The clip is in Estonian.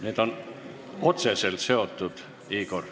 Need on otseselt seotud, Igor.